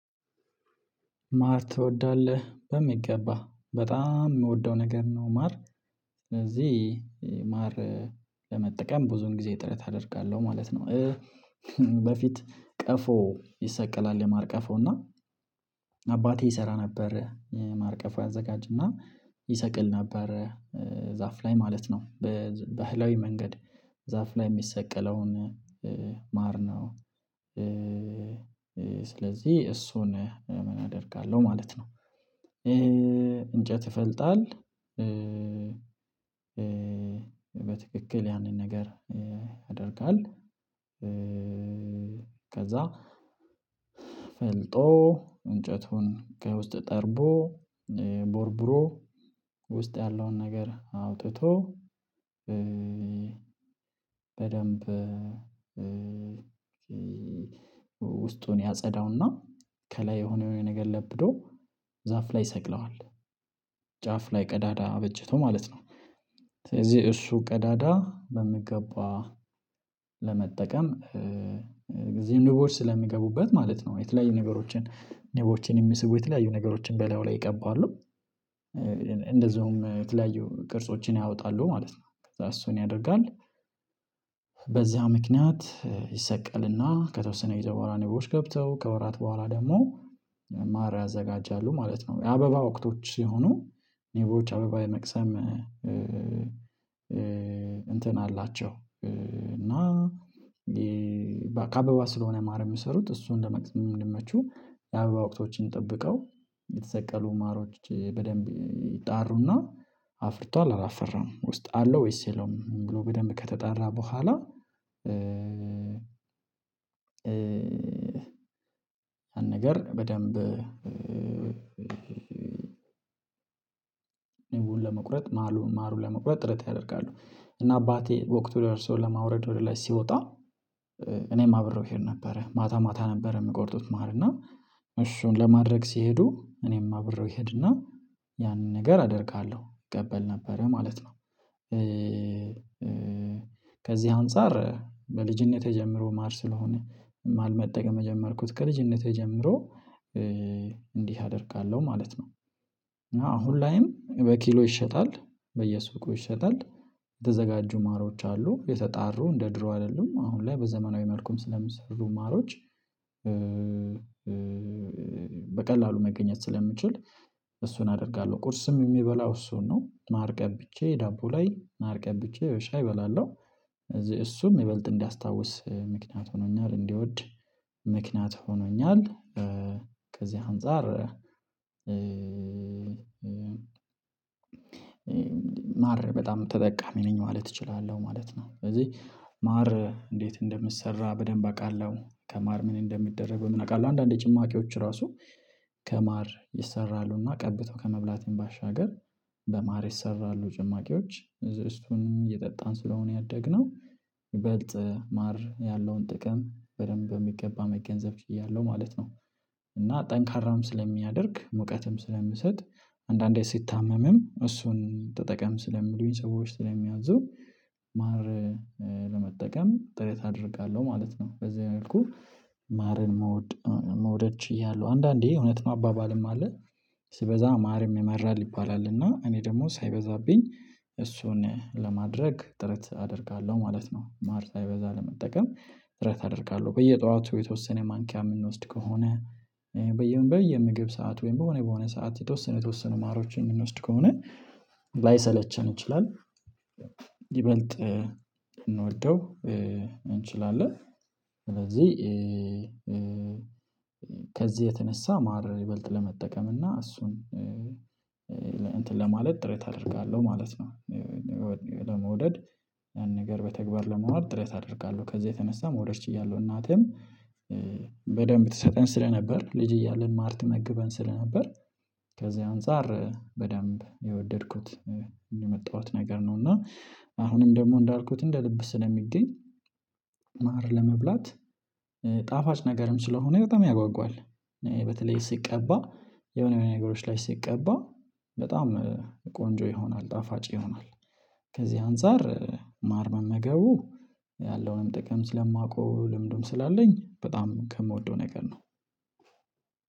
ማር ትወዳለህ በሚገባ በጣም የምወደው ነገር ነው ማር ስለዚህ ማር ለመጠቀም ብዙን ጊዜ ጥረት አደርጋለሁ ማለት ነው። በፊት ቀፎ ይሰቀላል የማርቀፎ እና አባቴ ይሰራ ነበር የማርቀፎ ያዘጋጅና ይሰቅል ነበር። ዛፍ ላይ ማለት ነው በባህላዊ መንገድ ዛፍ ላይ የሚሰቀለውን ማር ነው። ስለዚህ እሱን ምን አደርጋለሁ ማለት ነው። ይሄ እንጨት ይፈልጣል። በትክክል ያንን ነገር ያደርጋል። ከዛ ፈልጦ እንጨቱን ከውስጥ ጠርቦ ቦርብሮ ውስጥ ያለውን ነገር አውጥቶ። በደንብ ውስጡን ያጸዳውና ከላይ የሆነ የሆነ ነገር ለብዶ ዛፍ ላይ ይሰቅለዋል። ጫፍ ላይ ቀዳዳ በጀቶ ማለት ነው። ስለዚህ እሱ ቀዳዳ በምገባ ለመጠቀም እዚህም ንቦች ስለሚገቡበት ማለት ነው የተለያዩ ነገሮችን ንቦችን የሚስቡ የተለያዩ ነገሮችን በላዩ ላይ ይቀባሉ። የተለያዩ ቅርጾችን ያወጣሉ ማለት ነው ከዛ እሱን ያደርጋል። በዛ ምክንያት ይሰቀል እና ከተወሰነ ጊዜ በኋላ ገብተው ከወራት በኋላ ደግሞ ማር ያዘጋጃሉ ማለት ነው። የአበባ ወቅቶች ሲሆኑ ንቦች አበባ የመቅሰም እንትን አላቸው እና ከአበባ ስለሆነ ማር የሚሰሩት እሱ እንደምንመቹ የአበባ ወቅቶችን ጠብቀው የተሰቀሉ ማሮች በደንብ ይጣሩና አፍርቷል አላፈራም ውስጥ አለው ወይስ ይለውም ብሎ በደንብ ከተጣራ በኋላ። አንድ ነገር በደንብ ውል ለመቁረጥ ማሩን ማሩን ለመቁረጥ ጥረት ያደርጋሉ እና አባቴ ወቅቱ ወርሶ ለማውረድ ወደ ላይ ሲወጣ እኔም አብረው እሄድ ነበረ ማታ ማታ ነበረ የምቆርጡት ማር እና እሹን ለማድረግ ሲሄዱ እኔም አብረው ይሄድና ያንን ነገር አደርጋለሁ ቀበል ነበረ ማለት ነው። ከዚህ አንፃር በልጅነቴ ጀምሮ ማር ስለሆነ ማር መጠቀም የጀመርኩት ከልጅነቴ ጀምሮ። እንዲህ አደርጋለሁ ማለት ነው እና አሁን ላዬም በኪሎ ይሸጣል በየሱቅ ይሸጣል የተዘጋጁ ማሮች አሉ የተጣሩ እንደ ድሮ አይደሉም አሁን ላይ በዘመናዊ መልኩም ስለምሰሩ ማሮች። በቀላሉ መገኘት ስለምችል እሱን አደርጋለሁ ቁርስም የሚበላው እሱን ነው ማርቀብቼ ዳቦ ላይ ማርቀብ ብቻ በሻይ እበላለሁ። እዚህ እሱም የበለጠ እንዲያስታውስ ምክንያት ሆኖኛል እንድወድ ምክንያት ሆኖኛል። ከዚህ አንፃር ማር በጣም ተጠቃሚ ነኝ ማለት እችላለሁ ማለት ነው። ስለዚህ ማር እንዴት እንደምሰራ በደንብ አውቃለሁ ከማር ምን እንደሚደረግ በምን አውቃለሁ። አንዳንዴ ጭማቂዎች ራሱ ከማር ይሰራሉ እና ቀብቶ ከመብላትም ባሻገር በማር ይሰራሉ ጭማቂዎች እሱንም እየጠጣን ስለሆነ ያደግነው። ይበልጥ ማር ያለውን ጥቅም በደንብ በሚገባ መገንዘብ ችያለሁ ማለት ነው። እና ጠንካራም ስለሚያደርግ ሙቀትም ስለምሰጥ አንዳንዴ ስትታመምም እሱን ተጠቀም ስለምሉኝ ሰዎች ስለሚያዙ ስለሚያዝዙ ማር ለመጠቀም ጥረት አደርጋለሁ ማለት ነው። በዚህ መልኩህ ማርን መውደ ችያለው አንዳንዴ እውነት ነው አባባልም አለ። ሲበዛ ማርም የማራል ይባላል እና እኔ ደግሞ ሳይበዛብኝ እሱን ለማድረግ ጥረት አደርጋለሁ ማለት ነው። ማር ሳይበዛ ለመጠቀም ጥረት አደርጋለሁ በየጧቱ የተወሰነ ማንኪያ የምንወስድ ከሆነ በየምግብ ሰዓት ወይም በሆነ በሆነ ሰዓት የተወሰነ የተወሰኑ ማሮችን የምንወስድ ከሆነ ላይሰለቸን ይችላል። ሊበልጥ ልንወደው እንችላለን። ስለዚህ ከዚህ የተነሳ ማር ይበልጥ ለመጠቀም እና እሱን እንትን ለማለት ጥረት አደርጋለሁ ማለት ነው። ለመውደድ ያን ነገር በተግባር ለመዋል ጥሬት አደርጋለሁ ከዛ የተነሳ መውደድ ችያለሁ። እናቴም በደንብ ትሰጠን ስለነበር ልጅ እያልን ማር ትመግበን ስለነበር። ከዛ አንፃር በደንብ የወደድኩት የመጣሁት ነገር ነው። እና አሁንም ደግሞ እንዳልኩት እንደ ልብ ስለሚገኝ ማር ለመብላት ጣፋጭ ነገርም ሰለሆነ በጣም ያጓጓል። በተለይ ሲቀባ የሆነ የሆነ ነገሮች ላይ ሲቀባ በጣም ቆንጆ ይሆናል ጣፋጭ ይሆናል። ከዚህ አንፃር ማር መመገቡ ያለውን ጥቅም ስለማውቀው ልምዱም ስላለኝ በጣም ከምወደው ነገር ነው።